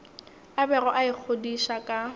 a bego a ikgodiša ka